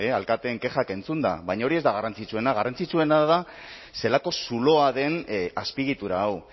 alkateen kexak entzunda baina hori ez da garrantzitsuena garrantzitsuena da zelako zuloa den azpiegitura hau